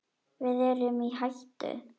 Við erum í hættu!